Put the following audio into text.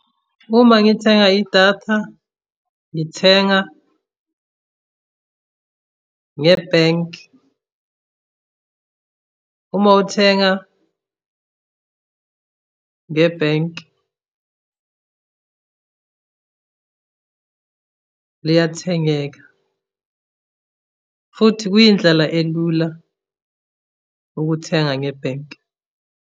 Uma ngithenga idatha ngithenga ngebhenki. Uma uthenga ngebhenki liyathengeka, futhi kuyindlela elula ukuthenga ngebhenki.